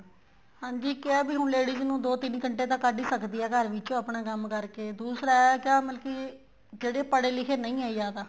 ਹਾਂਜੀ ਕਿਹਾ ਹੈ ਵੀ ਹੁਣ ladies ਨੂੰ ਦੋ ਤਿੰਨ ਘੰਟੇ ਤਾਂ ਕੱਢ ਹੀ ਸਕਦੀ ਹੈ ਘਰ ਵਿੱਚ ਉਹ ਆਪਣਾ ਕੰਮ ਕਰਕੇ ਦੂਸਰਾ ਇਹ ਹੈ ਮਤਲਬ ਕੀ ਜਿਹੜੇ ਪੜੇ ਲਿਖੇ ਨਹੀਂ ਹੈ ਜਿਆਦਾ